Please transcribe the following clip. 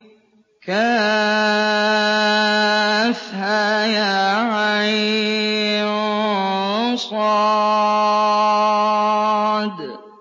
كهيعص